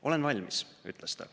"Olen valmis," ütles ta.